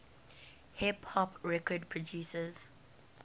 hip hop record producers